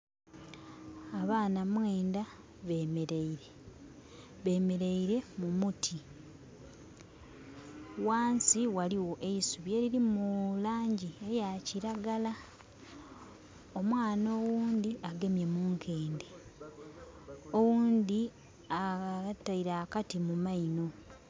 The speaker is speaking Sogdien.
Abaana mwenda bemeleire, bemeleire mu muti. Wansi waliwo eisubi elirimu langi eya kiragala. Omwana owundi agamye mu nkende, owundi ataire akati mu maino